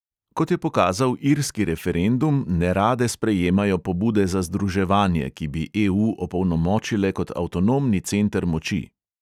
Kot je pokazal irski referendum, nerade sprejemajo pobude za združevanje, ki bi EU opolnomočile kot avtonomni center moči.